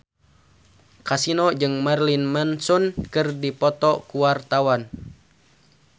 Kasino jeung Marilyn Manson keur dipoto ku wartawan